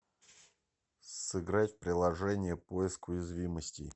сыграть в приложение поиск уязвимостей